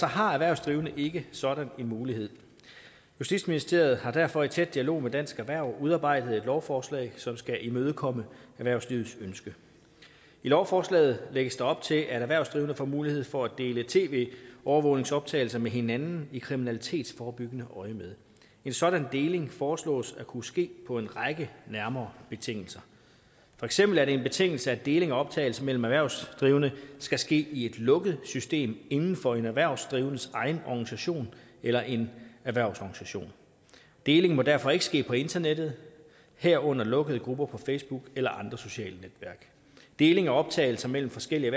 har erhvervsdrivende ikke sådan en mulighed justitsministeriet har derfor i tæt dialog med dansk erhverv udarbejdet et lovforslag som skal imødekomme erhvervslivets ønske i lovforslaget lægges der op til at erhvervsdrivende får mulighed for at dele tv overvågningsoptagelser med hinanden i kriminalitetsforebyggende øjemed en sådan deling foreslås at kunne ske på en række nærmere betingelser for eksempel er det en betingelse at deling af optagelser mellem erhvervsdrivende skal ske i et lukket system inden for en erhvervsdrivendes egen organisation eller en erhvervsorganisation deling må derfor ikke ske på internettet herunder lukkede grupper på facebook eller andre sociale netværk deling af optagelser mellem forskellige